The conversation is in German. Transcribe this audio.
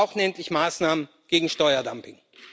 Wir brauchen endlich Maßnahmen gegen Steuerdumping.